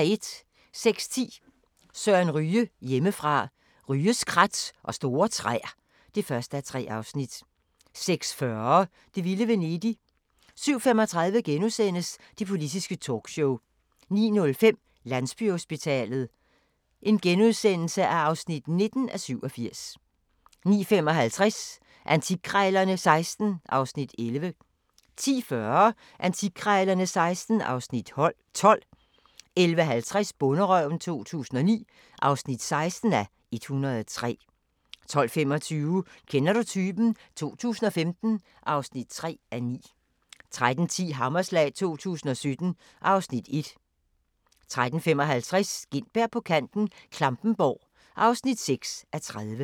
06:10: Søren Ryge: Hjemmefra – Ryges krat og store træer (1:3) 06:40: Det vilde Venedig 07:35: Det politiske talkshow * 09:05: Landsbyhospitalet (19:87)* 09:55: Antikkrejlerne XVI (Afs. 11) 10:40: Antikkrejlerne XVI (Afs. 12) 11:50: Bonderøven 2009 (16:103) 12:25: Kender du typen? 2015 (3:9) 13:10: Hammerslag 2017 (Afs. 1) 13:55: Gintberg på kanten - Klampenborg (6:30)